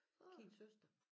Kims søster